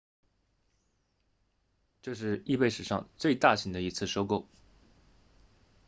这是 ebay 史上最大型的一次收购